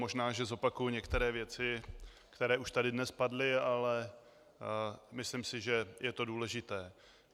Možná že zopakuji některé věci, které už tady dnes padly, ale myslím si, že je to důležité.